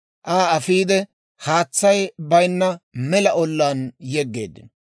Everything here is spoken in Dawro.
Aa afiide haatsay baynna mela ollaan yegeeddino.